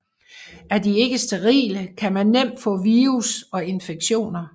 Er de ikke sterile kan man nemt få virus og infektioner